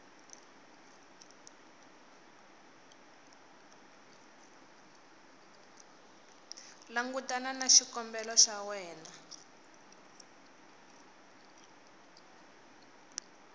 langutana na xikombelo xa wena